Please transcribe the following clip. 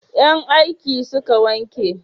Yan aiki suka wanke